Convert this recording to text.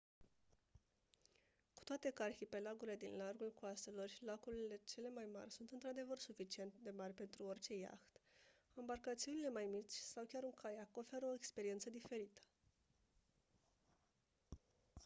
cu toate că arhipelagurile din largul coastelor și lacurile cele mai mari sunt într-adevăr suficient de mari pentru orice iaht ambarcațiunile mai mici sau chiar un caiac oferă o experiență diferită